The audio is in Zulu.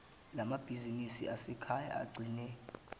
lamabhizinisi asekhaya agcine